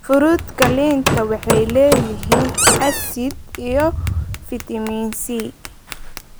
Furuutka liinta waxay leeyihiin asid iyo fiitamiin C.